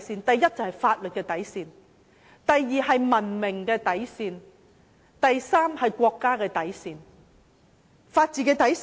第一，法治的底線；第二，文明的底線；第三，國家的底線。